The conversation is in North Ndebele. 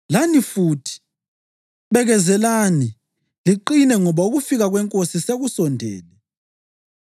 Lani futhi, bekezelani liqine ngoba ukufika kweNkosi sekusondele.